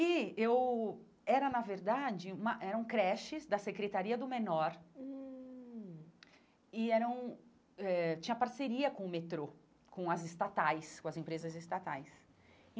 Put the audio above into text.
E eu era, na verdade, uma eram creches da secretaria do menor hum e eram eh tinha parceria com o metrô, com as estatais, com as empresas estatais.